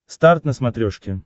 старт на смотрешке